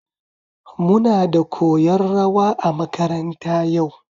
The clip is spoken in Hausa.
Muna da koyan rawa a makaranta yau